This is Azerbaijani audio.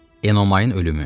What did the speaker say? Enomayın ölümü.